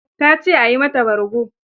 Ta ce a yi mata bargo.